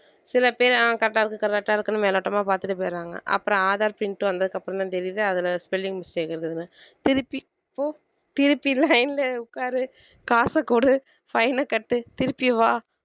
சில பேரு ஆஹ் correct ஆ இருக்கு correct ஆ இருக்குன்னு மேலோட்டமா பார்த்துட்டு போயிடுறாங்க அப்புறம் aadhar print வந்ததுக்கு அப்புறம்தான் தெரியுது அதுல spelling mistake இருக்குன்னு திருப்பி போ திருப்பி line ல உக்காரு காசு குடு fine அ கட்டு திருப்பி வா